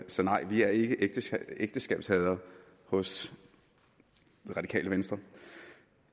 så nej vi er ikke ægteskabshadere hos det radikale venstre